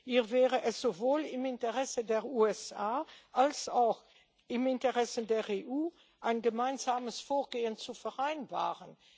Hier wäre es sowohl im Interesse der USA als auch im Interesse der EU, ein gemeinsames Vorgehen zu vereinbaren.